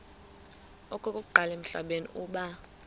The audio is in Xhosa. okokuqala emhlabeni uba